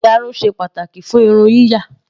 Ìyarun ṣe pàtàkì fún irun yíyà.